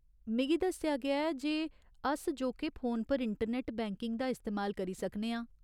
मिगी दस्सेआ गेआ ऐ जे अस जोके फोन पर इंटरनैट्ट बैंकिंग दा इस्तेमाल करी सकने आं।